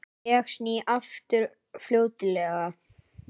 Ég sný aftur fljótlega.